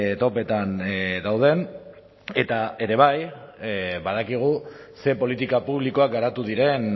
topetan dauden eta ere bai badakigu ze politika publikoak garatu diren